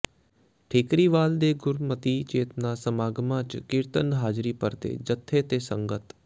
ਠੀਕਰੀਵਾਲ ਦੇ ਗੁਰਮਤਿ ਚੇਤਨਾ ਸਮਾਗਮਾਂ ਚ ਕੀਰਤਨ ਹਾਜ਼ਰੀ ਭਰਦੇ ਜਥੇ ਤੇ ਸੰਗਤ